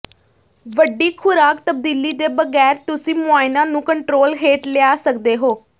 ਵੱਡੀ ਖੁਰਾਕ ਤਬਦੀਲੀ ਦੇ ਬਗੈਰ ਤੁਸੀਂ ਮੁਆਇਨਾ ਨੂੰ ਕੰਟਰੋਲ ਹੇਠ ਲਿਆ ਸਕਦੇ ਹੋ